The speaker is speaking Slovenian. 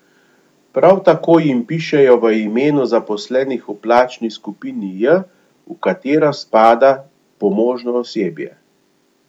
Prav tako jim pišejo v imenu zaposlenih v plačni skupini J, v katero spada pomožno osebje.